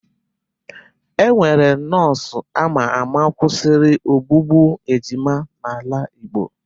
E nwere nọọsụ ama ama kwụsịrị ogbugbu ejima n'ala igbo.